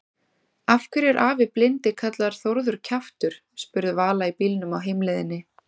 Af hverju er afi blindi kallaður Þórður kjaftur? spurði Vala í bílnum á heimleiðinni.